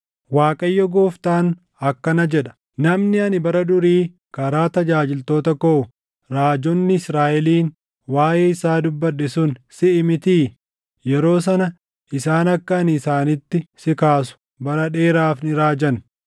“‘ Waaqayyo Gooftaan akkana jedha: Namni ani bara durii karaa tajaajiltoota koo raajonni Israaʼeliin waaʼee isaa dubbadhe sun siʼii mitii? Yeroo sana isaan akka ani isaanitti si kaasu bara dheeraaf ni raajan.